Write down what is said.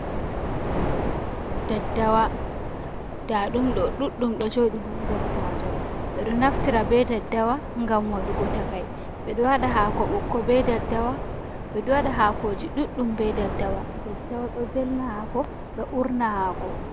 Daddawa ndaɗumɗo ɗuɗɗum ɗo jooɗi ha nder tasowo, ɓeɗo naftira be daddawa ngam waɗuugo takai, ɓeɗo waaɗa haako ɓokko be daddawa, ɓeɗo waɗa haakoji ɗuɗɗum be daddawa. Daddawa ɗo veelna haako ɗo urna haako.